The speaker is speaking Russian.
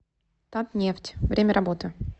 татнефть время работы